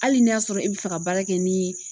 Hali n'i y'a sɔrɔ e bɛ fɛ ka baara kɛ ni